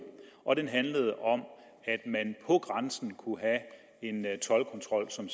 og den handlede om at man på grænsen kunne have en toldkontrol som